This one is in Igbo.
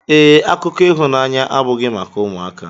Ee, akụkọ ịhụnanya abụghị maka ụmụaka.